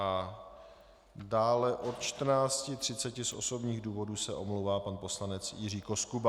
A dále od 14.30 z osobních důvodů se omlouvá pan poslanec Jiří Koskuba.